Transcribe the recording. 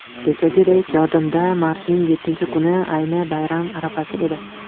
Kechagidek yodimda, martning yettinchi kuni, ayni bayram arafasi edi.